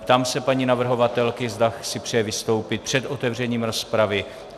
Ptám se paní navrhovatelky, zda si přeje vystoupit před otevřením rozpravy.